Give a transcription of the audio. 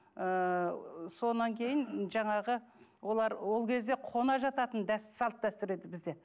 ыыы содан кейін жаңағы олар ол кезде қона жататын салт дәстүр еді бізде